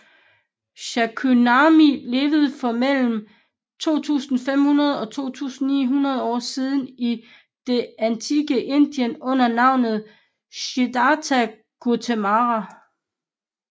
Shakyamuni levede for mellem 2500 og 2900 år siden i det antikke Indien under navnet Siddharta Gautama